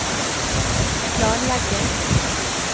planlegging